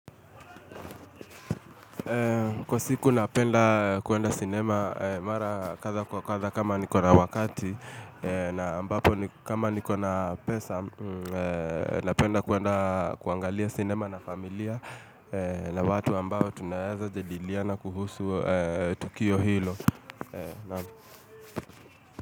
Kwa siku napenda kuenda sinema mara katha kwa katha kama nikona wakati na ambapo kama nikona pesa napenda kuenda kuangalia sinema na familia na watu ambao tunawezajediliana kuhusu Tukio Hilo.